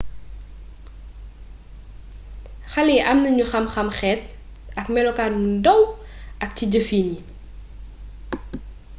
xaléyi amnañu xam xam xeet ak mélokaan bu ndaw ak ci jëfin yi